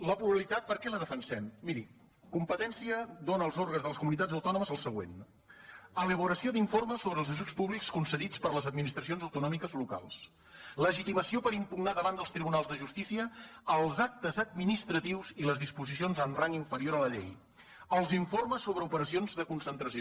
la pluralitat per què la defensem miri competència dóna als òrgans de les comunitats autònomes el següent elaboració d’informes sobre els ajuts públics concedits per les administracions autonò·miques locals legitimació per impugnar davant dels tribunals de justícia els actes administratius i les dispo·sicions amb rang inferior a la llei els informes sobre operacions de concentració